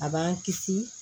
A b'an kisi